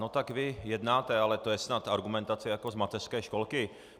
No tak vy jednáte, ale to je snad argumentace jako z mateřské školky.